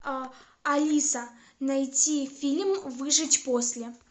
алиса найти фильм выжить после